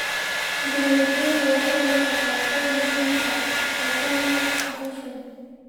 Tiknoolajiyadu waxay noqotaa qayb muhiim ah oo ka mid ah guushan.